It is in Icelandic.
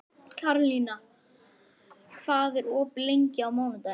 Karlína, hvað er opið lengi á mánudaginn?